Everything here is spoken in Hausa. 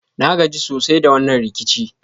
Na gaji sosai da wannan rikici.